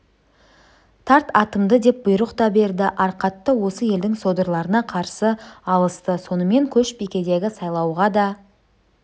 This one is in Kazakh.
тарт атымды деп бұйрық та берді арқатта осы елдің содырларына қарсы алысты сонымен көшбикедегі сайлауға да